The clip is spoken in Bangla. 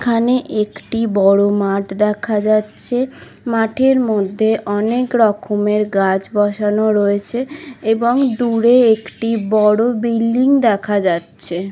এখানে একটি বোরোর মাঠ দেখা যাচ্ছে। মাঠের মধ্যে অনেক রকমের গাছ বসানো রয়েছে। এবং দূরে একটি বড়ো বিল্ডিং